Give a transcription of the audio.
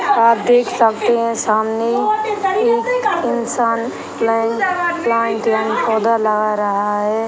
आप देख सकते हैं सामने एक इंसान प्लेन्ट प्लांट यानि पौधा लगा रहा है।